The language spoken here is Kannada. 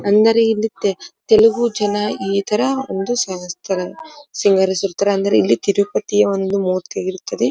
ಅಂದರೆ ಇಲ್ಲಿ ತೆಲುಗು ಜನ ಇತರ ಒಂದು ಸವಸ್ತರ್ ಸಿಂಗರಿಸುತ್ತರೆ ಅಂದರೆ ಇಲ್ಲಿ ತಿರುಪತಿಯ ಒಂದು ಮೂರ್ತಿಯಾಗಿರುತ್ತದೆ.